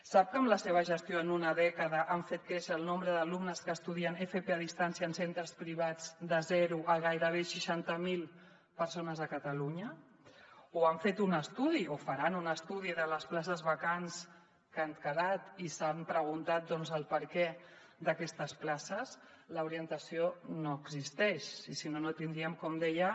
sap que amb la seva gestió en una dècada han fet créixer el nombre d’alumnes que estudien fp a distància en centres privats de zero a gairebé seixanta mil persones a catalunya o han fet un estudi o faran un estudi de les places vacants que han quedat i s’han preguntat el perquè d’aquestes places l’orientació no existeix si no no tindríem com deia